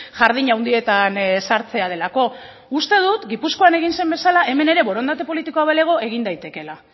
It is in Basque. jardin handietan sartzea delako uste dut gipuzkoan egin zen bezala hemen ere borondate politikoa balego egin daitekeela